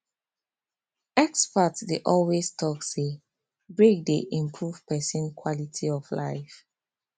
experts dey always talk say break dey improve person quality of life